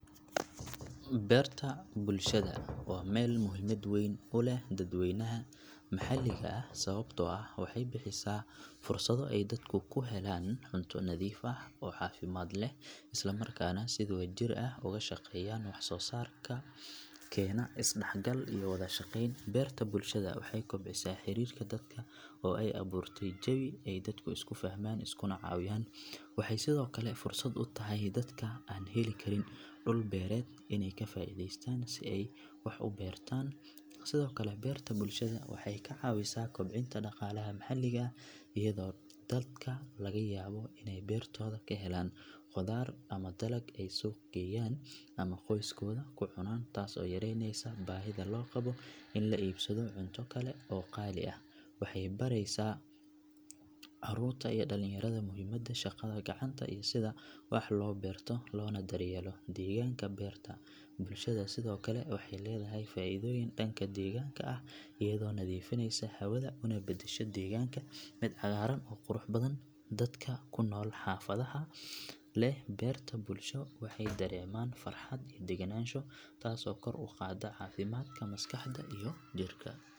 Beerta bulshada waa meel muhiimad weyn u leh dadweynaha maxalliga ah sababtoo ah waxay bixisaa fursado ay dadku ku helaan cunto nadiif ah oo caafimaad leh isla markaana si wadajir ah uga shaqeeyaan wax soo saar keena is dhexgal iyo wada shaqeyn beerta bulshada waxay kobcisaa xiriirka dadka oo ay abuurtay jawi ay dadku isku fahmaan iskuna caawiyaan waxay sidoo kale fursad u tahay dadka aan heli karin dhul beereed inay ka faa’iideystaan si ay wax u beertaan sidoo kale beerta bulshada waxay caawisaa kobcinta dhaqaalaha maxalliga ah iyadoo dadka laga yaabo inay beertooda ka helaan khudaar ama dalag ay suuqa geeyaan ama qoyskooda ku cunaan taas oo yaraynaysa baahida loo qabo in la iibsado cunto kale oo qaali ah waxay baraysaa carruurta iyo dhalinyarada muhiimadda shaqada gacanta iyo sida wax loo beerto loona daryeelo deegaanka beerta bulshada sidoo kale waxay leedahay faa’iidooyin dhanka deegaanka ah iyadoo nadiifinaysa hawada una beddesha deegaanka mid cagaaran oo qurux badan dadka ku nool xaafadaha leh beerta bulsho waxay dareemaan farxad iyo degganaansho taas oo kor u qaadda caafimaadka maskaxda iyo jirka.